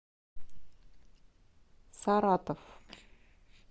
саратов